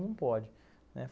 Não pode, né.